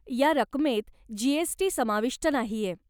या रकमेत जी.एस.टी. समाविष्ट नाहीये.